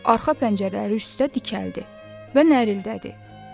Arxa pəncələri üstə dikəldi və nərildədi.